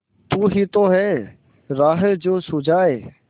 तू ही तो है राह जो सुझाए